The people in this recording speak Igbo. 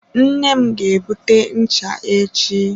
Nne m ga-ebute ncha echi.